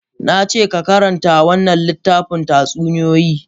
Na ce ka karanta wannan littafin tatsuniyoyi!